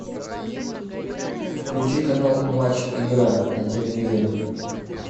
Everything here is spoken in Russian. включи канал матч игра на телевизоре